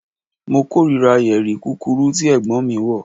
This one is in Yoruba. Mo korira yeri kukuru ti Ẹ̀gbọ́n mi wọ